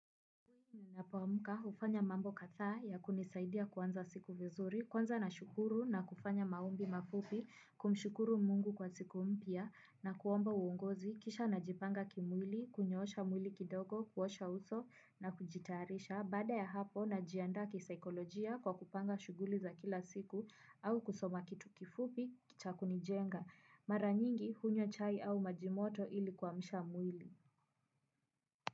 Napoamka kufanya mambo kadhaa ya kunisaidia kuanza siku vizuri, kwanza nashukuru na kufanya maombi mafupi kumshukuru Mungu kwa siku mpya na kuomba uongozi kisha najipanga kimwili, kunyoosha mwili kidogo kuosha uso na kujitayarisha baada ya hapo najianda kisaikolojia kwa kupanga shughuli za kila siku au kusoma kitu kifupi cha kunijenga mara nyingi hunywa chai au majimoto ili kuamsha mwili.